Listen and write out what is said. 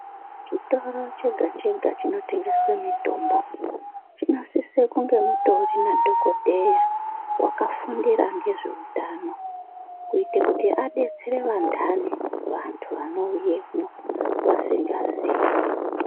Chitoro chega chega chinotengeswe mitombo, chinosise kunge mutori nadhokodheya vakafundira ngezveutano kuite kuti adetsere vandano vanhu vanoyemwo vasingaziyi.